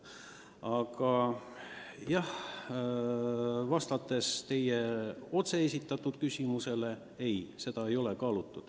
Aga vastates teie otsesele küsimusele: ei, seda ei ole kaalutud.